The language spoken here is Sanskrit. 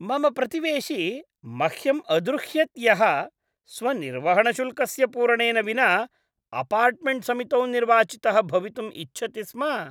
मम प्रतिवेशी मह्यम् अद्रुह्यत् यः स्वनिर्वहणशुल्कस्य पूरणेन विना अपार्टमेण्ट् समितौ निर्वाचितः भवितुम् इच्छति स्म।